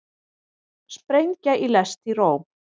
Sprengja í lest í Róm